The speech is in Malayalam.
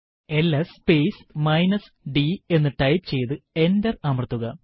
എൽഎസ് സ്പേസ് d എന്ന് ടൈപ്പ് ചെയ്തു എന്റർ അമർത്തുക